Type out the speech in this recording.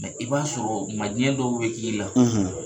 i b'a sɔrɔ u ma ɲɛ dɔw be k'i la